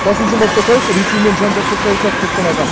қасым жомарт тоқаев ресеймен жан жақты саясатты ұстанады